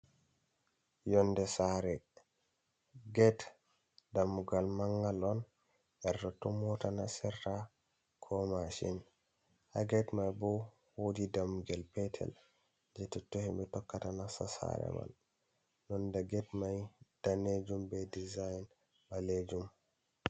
Yonde sare get dammugal mangal on her totton mota nastirta ko mashin, ha get mai bo wodi dammugel petel je totton himbe tokkata nasta sare mai, nonde get mai danejum be diza in balejum.